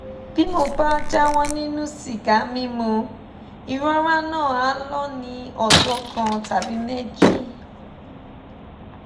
bí mo bá jáwọ́ nínú sìgá mímu ìrora náà á lọ ní ọjọ́ kan tàbí méjì